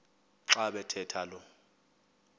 xa bathetha lo